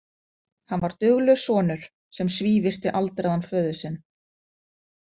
Hann var duglaus sonur sem svívirti aldraðan föður sinn.